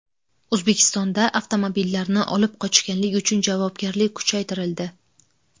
O‘zbekistonda avtomobillarni olib qochganlik uchun javobgarlik kuchaytirildi .